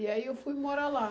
E aí eu fui morar lá.